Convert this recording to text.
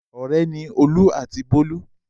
Ọ̀rẹ́ ni Olú àti Bólú.